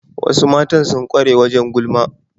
Wasu Matan sun kware wajen gulma